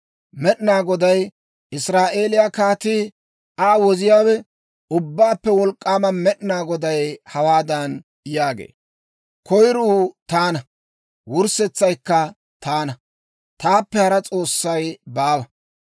Med'inaa Goday, Israa'eeliyaa Kaatii, Aa Woziyaawe, Ubbaappe Wolk'k'aama Med'inaa Goday hawaadan yaagee; «Koyiruu taana; wurssetsaykka taana. Taappe hara S'oossay baawa.